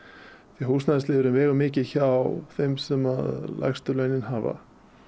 því húsnæðisliðurinn vegur mikið hjá þeim sem lægstu launin hafa